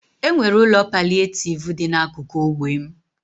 E nwere ụlọ palịetivu dị n'akụkụ ógbè m.